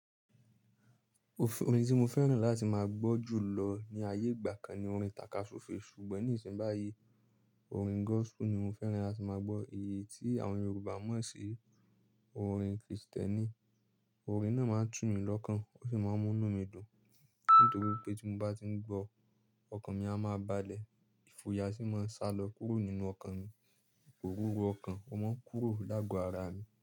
Orin tí mo fẹ́ràn láti máa gbọ́ jù lọ ní ayé ìgbà kan ni orin takaso fe ṣùgbọ́n ní ìsìn báyìí, orin gospel ni mo fẹ́ràn láti máa gbọ́, èyí tí àwọn Yorùbá mọ̀ sí orin Kristẹni. Orin náà máa ń tù mí lọ́kàn, ó sì máa ń mú inú mi dùn; nítorí pé tí mo bá tí ń gbọ́, ọkàn mi a máa balẹ̀, ìfoya asì máa sálọ kúrò nínú ọkàn mi, òróró ọkàn ọmọ kúrò lágo ara mi.